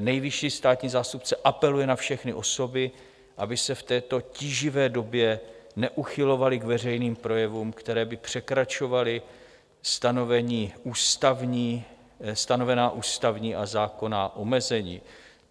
nejvyšší státní zástupce apeluje na všechny osoby, aby se v této tíživé době neuchylovaly k veřejným projevům, které by překračovaly stanovená ústavní a zákonná omezení.